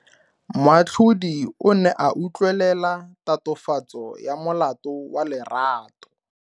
Moatlhodi o ne a utlwelela tatofatso ya molato wa Lerato.